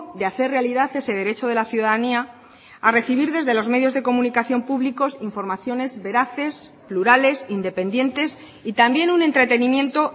de hacer realidad ese derecho de la ciudadanía a recibir desde los medios de comunicación públicos informaciones veraces plurales independientes y también un entretenimiento